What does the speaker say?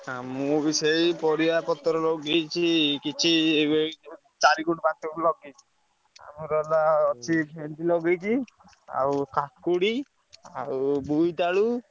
ଆଁ ମୁଁ ବି ସେଇ ପରିବାପତ୍ର ଲଗେଇଛି କିଛି ୟେ କହିଲୁ ଚାରିଗୁଣ୍ଠ ପାଞ୍ଚଗୁଣ୍ଠ ଲଗେଇଛି ଆମର ହେଲା ଅଛି ଭେଣ୍ଡି ଲଗେଇଛି ଆଉ କାକୁଡି ଆଉ ବୋଇତାଳୁ।